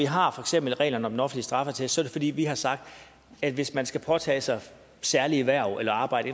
har reglerne om en offentlig straffeattest er det fordi vi har sagt at hvis man skal påtage sig særlige hverv eller arbejde